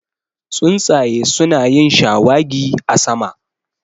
Tsuntsaye su na yin shawagi a sama